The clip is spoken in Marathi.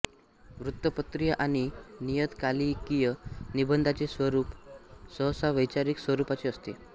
वृत्तपत्रीय आणि नियतकालिकीय निबंधांचे स्वरूप सहसा वैचारिक स्वरूपाचे असते